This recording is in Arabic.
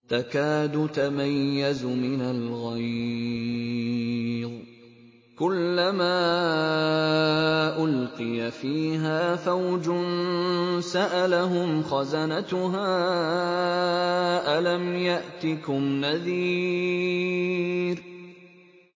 تَكَادُ تَمَيَّزُ مِنَ الْغَيْظِ ۖ كُلَّمَا أُلْقِيَ فِيهَا فَوْجٌ سَأَلَهُمْ خَزَنَتُهَا أَلَمْ يَأْتِكُمْ نَذِيرٌ